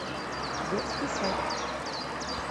детский сад